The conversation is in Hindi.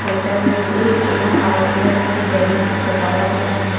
होटल में रेड एवम व्हाइट कलर की बैलून सजाया गया है।